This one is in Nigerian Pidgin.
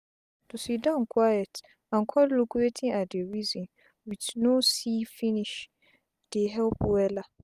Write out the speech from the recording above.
to siddon quiet and con look wetin i dey reason with no see finish dey help wella